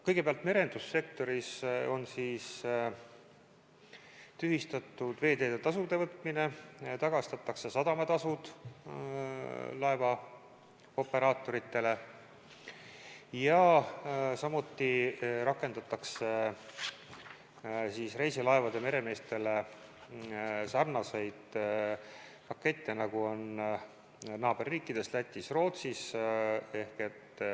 Kõigepealt, merendussektoris on tühistatud veeteede tasude võtmine, tagastatakse sadamatasud laevaoperaatorile ja samuti rakendatakse reisilaevade meremeestele sarnaseid pakette, nagu on naaberriikides Lätis ja Rootsis.